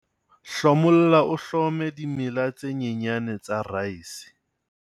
hlomolla o hlome dimela tse nyenyane tsa reise